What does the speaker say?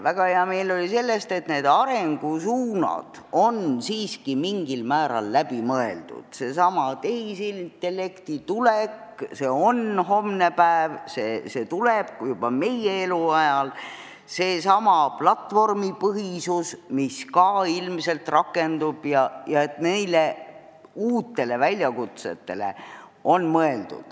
Väga hea meel oli selle üle, et arengusuunad ja uued asjad on siiski mingil määral läbi mõeldud – seesama tehisintellekti tulek on homne päev, see tuleb võib-olla juba meie eluajal, seesama platvormipõhisus, mis ka ilmselt rakendub.